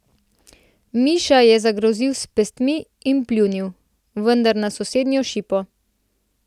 Miša je zagrozil s pestmi in pljunil, vendar na sosednjo šipo.